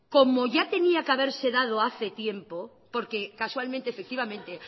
como ya tenía que haberse dado ya hace tiempo porque casualmente efectivamente